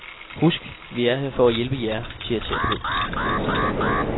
Husk, vi er her for at hjælpe jer, siger terapeuten.